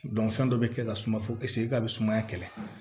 fɛn dɔ bɛ kɛ ka suma fose a bɛ sumaya kɛlɛ